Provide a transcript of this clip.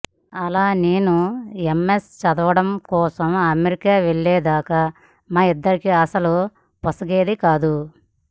అలా నేను ఎమ్మెస్ చదవడం కోసం అమెరికా వెళ్లేదాకా మా ఇద్దరికీ అసలు పొసగేది కాదు